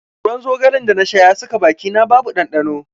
Ruwan zogale da na sha ya saka bakina babu ɗanɗano.